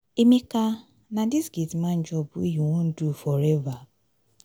emeka na dis gate man job wey you wan do forever?